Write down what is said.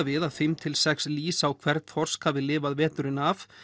við að fimm til sex lýs á hvern þorsk hafi lifað veturinn af